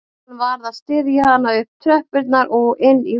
Hann varð að styðja hana upp tröppurnar og inn í húsið